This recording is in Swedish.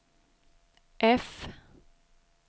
F